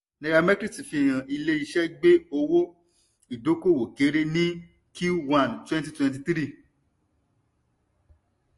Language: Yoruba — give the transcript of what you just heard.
nairametrics fihàn ilé iṣé gbé owó ìdókòwò kéré ní q one twenty twenty three